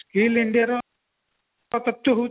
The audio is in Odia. clean India ର ହଉଛି